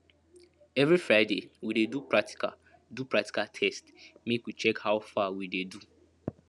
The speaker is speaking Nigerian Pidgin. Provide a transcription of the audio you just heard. every friday we dey do practical do practical test make we check how far we dey do